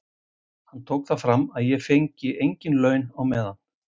Hann tók það fram að ég fengi engin laun á meðan.